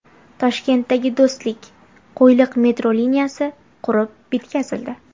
Toshkentdagi Do‘stlik–Qo‘yliq metro liniyasi qurib bitkazildi .